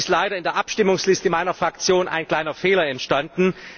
Es ist leider in der Abstimmungsliste meiner Fraktion ein kleiner Fehler entstanden.